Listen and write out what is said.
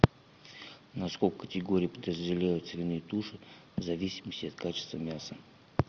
на сколько категорий подразделяют свиные туши в зависимости от качества мяса